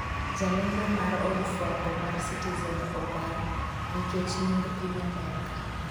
jalendo mar od fwambo mar Citizen odar nikech nying Piny Amerka